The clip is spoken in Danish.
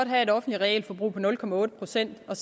have et offentligt realforbrug på nul procent og